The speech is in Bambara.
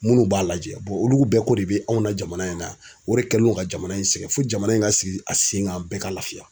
Munnu b'a lajɛ olu bɛɛ ko de bɛ anw na jamana in na o de kɛlen do ka jamana in sɛgɛn fo jamana in ka sigi a sen kan bɛɛ ka laafiya